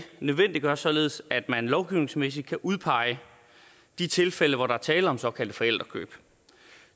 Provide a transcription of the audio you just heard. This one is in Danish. nødvendiggør således at man lovgivningsmæssigt kan udpege de tilfælde hvor der er tale om såkaldte forældrekøb